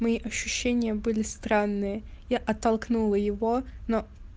мои ощущения были странные я оттолкнула его но